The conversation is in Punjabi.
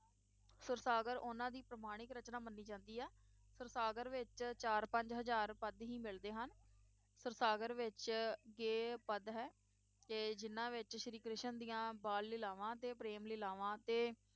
ਸੁਰਸਾਗਰ ਉਹਨਾਂ ਦੀ ਪ੍ਰਮਾਣਿਕ ਰਚਨਾ ਮੰਨੀ ਜਾਂਦੀ ਆ ਸੁਰਸਾਗਰ ਵਿਚ ਚਾਰ ਪੰਜ ਹਜਾਰ ਪਦ ਹੀ ਮਿਲਦੇ ਹਨ ਸੁਰਸਾਗਰ ਵਿਚ ਇਹ ਪਦ ਹੈ ਕਿ ਜਿਹਨਾਂ ਵਿਚ ਸ਼੍ਰੀ ਕ੍ਰਿਸ਼ਨ ਦੀਆਂ ਬਾਲ ਲੀਲਾਵਾਂ ਤੇ ਪ੍ਰੇਮ ਲੀਲਾਵਾਂ ਤੇ